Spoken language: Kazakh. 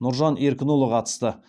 нұржан еркінұлы қатысты